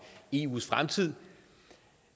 eus fremtid